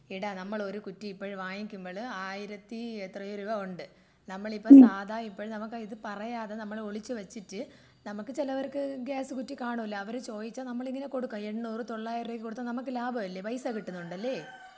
എടാ നമ്മള് ഒരു കുറ്റി ഇപ്പോ വാങ്ങിക്കുമ്പോഴ് ആയിരത്തി എത്രെയോ രൂപ ഉണ്ട്.നമ്മളിപ്പോ സാധാ ഇപ്പഴ് നമ്മക്ക് ഇത് പറയാതെ നമ്മൾ ഒളിച്ച് വെച്ചിട്ട് നമ്മുക്ക് ചിലവർക്ക് ഗ്യാസ് കുറ്റി കാണൂല്ല അവര് ചോദിച്ചാൽ നമ്മൾ ഇങ്ങനെ കൊടുക്കും എണൂർ തോളായിരം രൂപയ്ക്ക് കൊടുത്ത നമ്മുക്ക് ലാഭമല്ലേ പൈസ കിട്ടുന്നണ്ടല്ലെ?